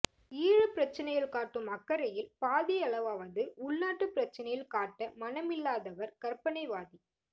ஈழப் பிரச்சனையில் காட்டும் அக்கரையில் பாதியளவாவது உள்நாட்டுப் பிரச்சனையில் காட்ட மனமில்லாதவர் கற்பணைவாதி